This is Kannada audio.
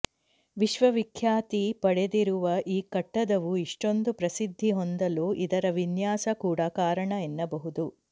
ವಿಶ್ವವಿಖ್ಯಾತಿ ಪಡೆದಿರುವ ಈ ಕಟ್ಟಡವು ಇಷ್ಟೊಂದು ಪ್ರಸಿದ್ಧಿ ಹೊಂದಲು ಇದರ ವಿನ್ಯಾಸ ಕೂಡ ಕಾರಣ ಎನ್ನಬಹುದು